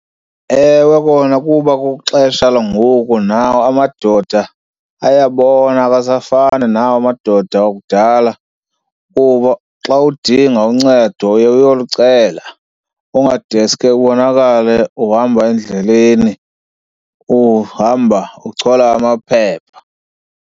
Ewe kona, kuba kwixesha langoku nawo amadoda ayabona awasafani nawo amadoda akudala kuba xa udinga uncedo uye uyolucela. Ungadeske ubonakale uhamba endleleni uhamba uchola amaphepha.